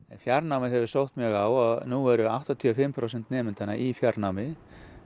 fjarnámið hefur sótt mjög á og nú eru áttatíu og fimm prósent nemendanna í fjarnámi